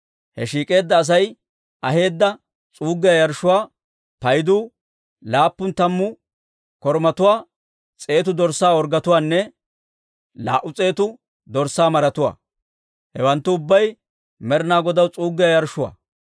He shiik'eedda Asay aheedda s'uuggiyaa yarshshuwaa paydu laappun tammu korumatuwaa, s'eetu dorssaa orggetuwaanne laa"u s'eetu dorssaa maratuwaa; hewanttu ubbay Med'inaa Godaw s'uuggiyaa yarshshotuwaa.